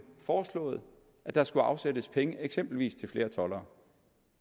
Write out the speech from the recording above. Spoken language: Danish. foreslået at der skulle afsættes penge eksempelvis til flere toldere